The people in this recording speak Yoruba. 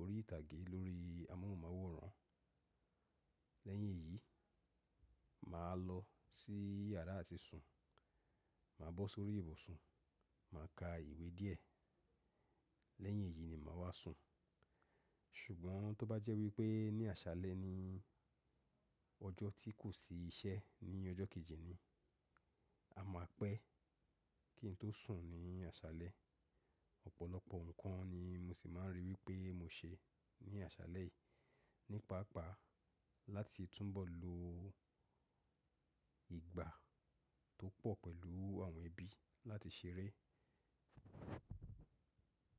orí ìtàgé lórí amóhùnmáwòrán. Lẹ́yìn èyí, mà á lọ sí yàrá àti sùn, mà á bọ́ sórí ìbùsùn, mà á ka ìwé díẹ̀. Lẹ́yìn èyí ni mà á wá sùn. Ṣùgbọ́n tó bá jẹ́ wípé ní àṣálẹ́ ni ọjọ́ tí kò sí iṣẹ́ ní ọjọ́ kejì ni, a máa pẹ́ kí n tó sùn ní àṣálẹ́. Ọ̀pọ̀lọpọ̀ nǹkan ni mo sì máa ń rí wípé mo ṣe ní àṣálẹ́ yìí, nípa àpá láti túbọ̀ lo ìgbà tó pọ̀ pẹ̀lú àwọn ẹbí láti ṣeré.